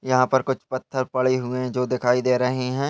यहाँ पर कुछ पत्थर पड़े हुए हैं जो दिखाई दे रहे हैं ।